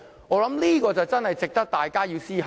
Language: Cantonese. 我認為這確實值得大家思考。